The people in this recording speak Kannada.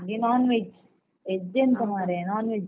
ನಂಗೆ non veg veg ಎಂತ ಮರ್ರೆ non veg .